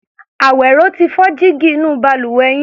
Àwẹ̀ró ti fọ́ jígí inú balùwẹ̀ yín.